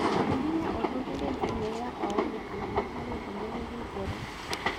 Hihinya ũthuthurie Gmail yakwa wone kana nĩ harĩ ndũmĩrĩri njerũ